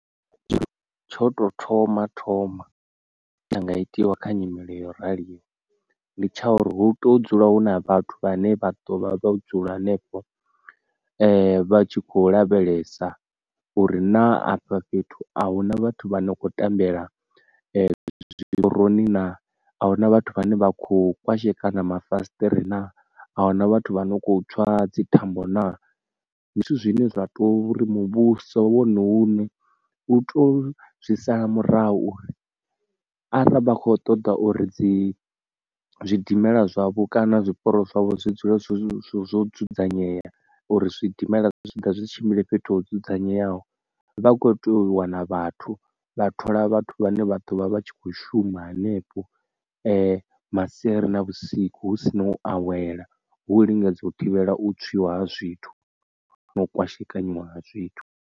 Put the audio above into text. Tsho to thoma thoma tsha nga itiwa kha nyimele yo raliho ndi tsha uri hu to dzula hu na vhathu vhane vha ḓo vha vha vho dzula henefho vha tshi kho lavhelesa uri na afha fhethu a huna vhathu vha no kho tambela zwiporoni na, a huna vhathu vhane vha kho kwashekana mafasiṱere na, ahuna vhathu vha no kho tswa dzi thambo na. Ndi zwithu zwine zwa to uri muvhuso wone une u to zwi sala murahu uri arali vha kho ṱoḓa uri dzi zwidimela zwavhu kana zwiporo zwavho zwi dzule zwo zwo zwo dzudzanyea uri zwidimela zwa zwitshiḓa zwi tshimbile fhethu ho dzudzanyeaho vha kho tea u wana vhathu vha thola vhathu vhane vha ḓovha vha tshi kho shuma hanefho masiari na vhusiku hu si na u awela hu lingedza u thivhela u tswiwa ha zwithu na u kwashekanya ha zwithu.